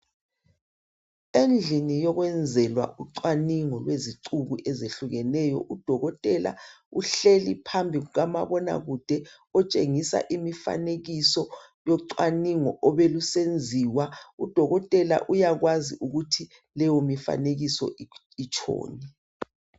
Endlini yokwezelwa ucwaningo lwezicuku ezehlukeneyo udokotela uhleli phambi kukamabona kude otshengisa imfanekiso yocwaningo obelusenziwa udokotela uyakwazi ukuthi leyo mfanekiso itshoni